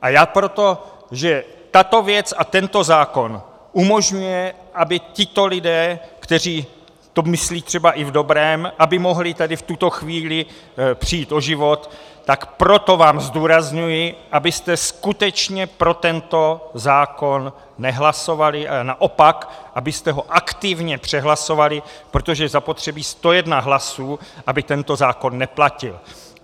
A já proto, že tato věc a tento zákon umožňuje, aby tito lidé, kteří to myslí třeba i v dobrém, aby mohli tady v tuto chvíli přijít o život, tak proto vám zdůrazňuji, abyste skutečně pro tento zákon nehlasovali, a naopak, abyste ho aktivně přehlasovali, protože je zapotřebí 101 hlasů, aby tento zákon neplatil.